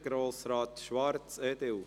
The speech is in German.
Grossrat Schwarz, EDU.